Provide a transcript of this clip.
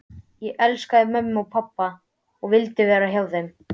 Ég elskaði mömmu og pabba og vildi vera hjá þeim.